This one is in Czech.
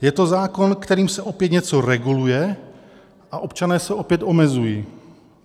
Je to zákon, kterým se opět něco reguluje a občané se opět omezují.